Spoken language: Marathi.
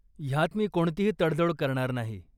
ह्यात मी कोणतीही तडजोड करणार नाही.